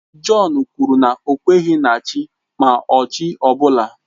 Jọn kwuru na ọ kweghị na Chi ma ọ chi ọ bụla.